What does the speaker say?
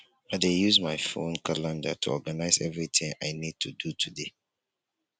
i dey use my phone calendar to organize everything i need to do today.